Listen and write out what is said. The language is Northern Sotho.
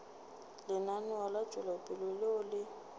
lenaneo la tšwetšopele leo le